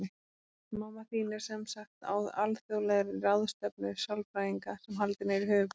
Mamma þín er sem sagt á alþjóðlegri ráðstefnu sálfræðinga, sem haldin er í höfuðborginni.